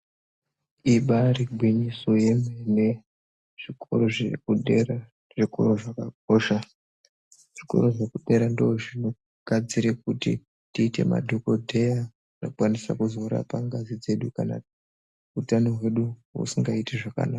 Ibairi gwinyiso yemene zvikoro zvekudera zvikoro zvakakosha zvikoro zvekudera ndo zvinogadzire kuti tiite madhokoteya anokwanisa kuzorapa ngazi dzedu kana utano hwedu usingaiti zvakanaka.